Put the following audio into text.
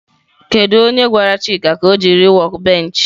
Kedu onye gwara chika ka o jiri workbench?